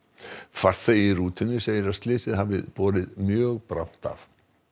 farþegi í rútunni segir að slysið hafi borið mjög brátt að